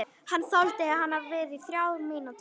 Hann þoldi við í þrjár mínútur.